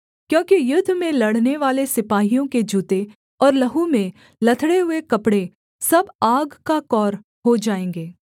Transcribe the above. क्योंकि युद्ध में लड़नेवाले सिपाहियों के जूते और लहू में लथड़े हुए कपड़े सब आग का कौर हो जाएँगे